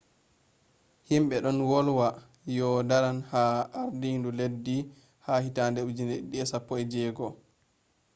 himɓe ɗon wolwa yo'o daran ha ardinu leddi ha 2016